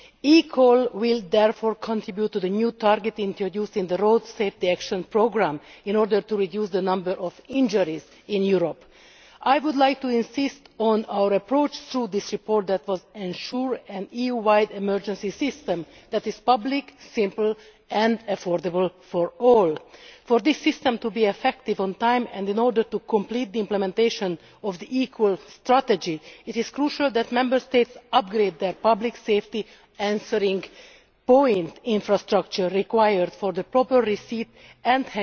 eCall will therefore contribute to the new targeting introduced into the Road Safety Action Programme in order to reduce the number of injuries in Europe. I would like to insist on an approach through this report that will ensure an EU wide emergency system that is public, simple and affordable for all. For this system to be effective on time and in order to complete the implementation of the equal strategy, it is crucial that Member States upgrade their Public Safety Answering Point infrastructure required for the proper receipt